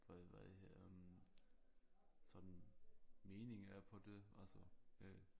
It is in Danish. Hvad hvad det hed øh sådan mening er på det altså øh